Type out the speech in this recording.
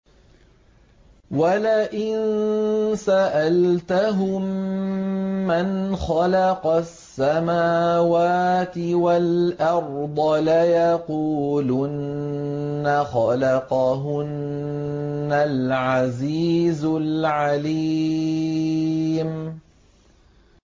وَلَئِن سَأَلْتَهُم مَّنْ خَلَقَ السَّمَاوَاتِ وَالْأَرْضَ لَيَقُولُنَّ خَلَقَهُنَّ الْعَزِيزُ الْعَلِيمُ